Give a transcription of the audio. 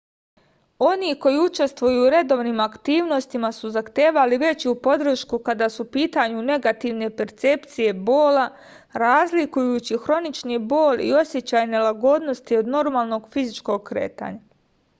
oni koji učestvuju u redovnim aktivnostima su zahtevali veću podršku kada su u pitanju negativne percepcije bola razlikujući hronični bol i osećaj nelagodnosti od normalnog fizičkog kretanja